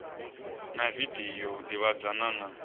na video u ḓivhadzana na